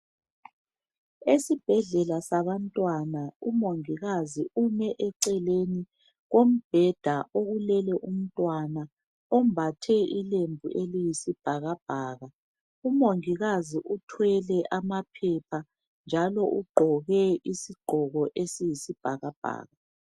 Esibhedlela sabantwana umongikazi ume eceleni kombheda okulele umntwana ombathe ilembu eliyisibhakabhaka. Umongikazi uthwele amaphepha njalo ugqoke iziqgoko eziyisibhakabhaka.